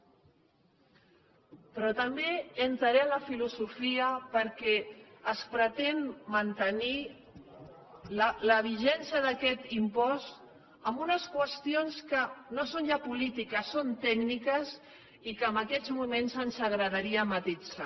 però també entraré en la filosofia perquè es pretén mantenir la vigència d’aquest impost en unes qüestions que no són ja polítiques són tècniques i que en aquests moments ens agradaria matisar